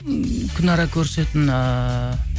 м күнара көрісетін ыыы